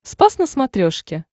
спас на смотрешке